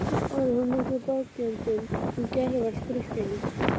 Olli hún miklum bágindum um gervallt Grikkland.